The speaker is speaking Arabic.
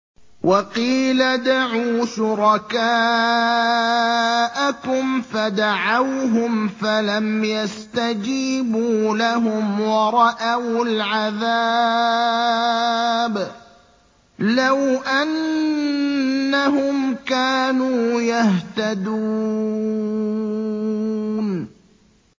وَقِيلَ ادْعُوا شُرَكَاءَكُمْ فَدَعَوْهُمْ فَلَمْ يَسْتَجِيبُوا لَهُمْ وَرَأَوُا الْعَذَابَ ۚ لَوْ أَنَّهُمْ كَانُوا يَهْتَدُونَ